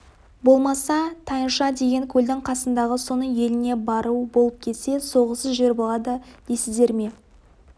болмаса тайынша деген көлдің қасындағы соның еліне бару болып кетсе соғыссыз жер болады дейсіздер ме